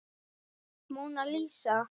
Móna Lísa.